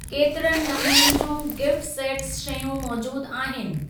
केतिरनि नमूननि जियूं गिफ़्ट सेट्स शयूं मौजूद आहिनि?